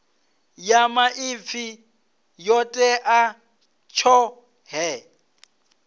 ya maipfi yo tea tshoṱhe